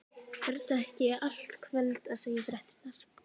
Vertu ekki í allt kvöld að segja fréttirnar.